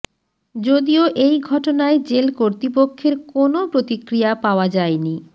যদিও এই ঘটনায় জেল কর্তৃপক্ষের কোনও প্রতিক্রিয়া পাওয়া যায়নি